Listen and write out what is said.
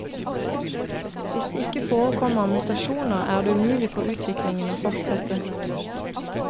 Hvis det ikke forekommer mutasjoner, er det umulig for utviklingen å fortsette.